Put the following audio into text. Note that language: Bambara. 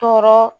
Tɔɔrɔ